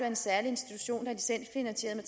en særlig institution at